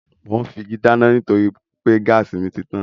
Mò ún fi igi dáná nítorí pé gáàsì mi títàn